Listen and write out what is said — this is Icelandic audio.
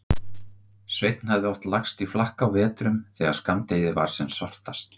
Sveinn hafði oft lagst í flakk á vetrum þegar skammdegið var sem svartast.